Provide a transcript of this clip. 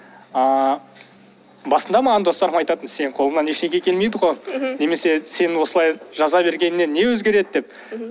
ыыы басында маған достарым айтатын сенің қолыңнан ештеңе келмейді ғой мхм немесе сен осылай жаза бергеннен не өзгереді деп мхм